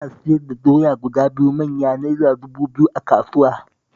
Ana siyar da doya guda biyu manya Naira dubu biyu a kasuwa